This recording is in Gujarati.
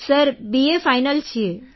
સર બીએ ફાઇનલ છીએ